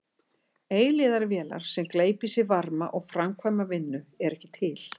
Eilífðarvélar sem gleypa í sig varma og framkvæma vinnu eru ekki til.